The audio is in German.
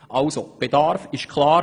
Der Bedarf ist also klar.